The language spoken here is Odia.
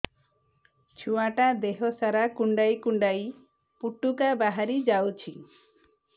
ଛୁଆ ଟା ଦେହ ସାରା କୁଣ୍ଡାଇ କୁଣ୍ଡାଇ ପୁଟୁକା ବାହାରି ଯାଉଛି